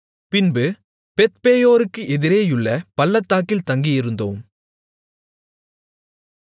பின்பு பெத்பேயோருக்கு எதிரேயுள்ள பள்ளத்தாக்கில் தங்கியிருந்தோம்